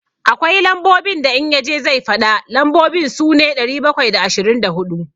Akwai lambobin da in ya je zai faɗa, lambobin su ne, ɗari bakwai da ashirin da huɗu.